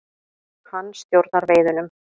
Hann stjórnar veiðunum.